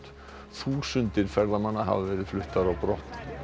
þúsundir ferðamanna hafa verið fluttar á brott